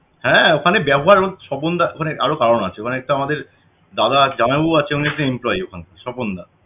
হ্যাঁ ওখানে ব্যবহার এবং স্বপনদা মানে আরও কারণ আছে ওখানে একটা আমাদের দাদা আছে জামাইবাবু আছে উনি একটা employee ওখানে স্বপনদা